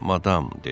Madam!